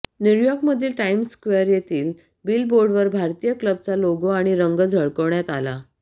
न्यूयॉर्कमधील Times Square येथील बिलबोर्डवर भारतीय क्लबचा लोगो आणि रंग झळकावण्यात आला